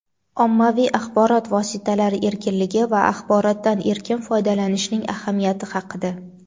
ommaviy axborot vositalari erkinligi va axborotdan erkin foydalanishning ahamiyati haqida.